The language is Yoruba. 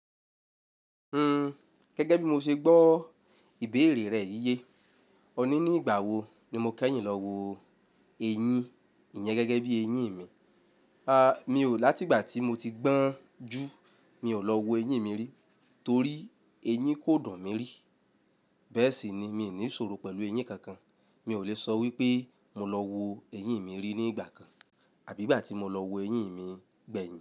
Hmm, gẹ́gẹ́ bí mo ṣe gbọ́ ìbéèrè rẹ̀ yíyẹ. Ọ̀ní ní ìgbà wo ni mo kẹ́yìn lọ wo ẹyin? Ìyẹn gẹ́gẹ́ bí eyín mi. A, mi ò, láti ìgbà tí mo ti gbọ́n jù, mi ò lọ wo eyín mi rí, torí eyín kò dùn mi rí. Bẹ́ẹ̀ sì ni, mi ò ní ìṣòro pẹ̀lú eyín kankan. Mi ò lè sọ wípé mo lọ wo eyín mi rí ní ìgbà kan, àbí ìgbà tí mo lọ wo eyín mi gbẹ̀yìn.